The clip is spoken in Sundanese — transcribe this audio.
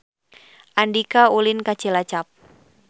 Andika ulin ka Cilacap